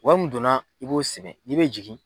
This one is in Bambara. Wari min donna i b'o sɛbɛn n'i bɛ jigin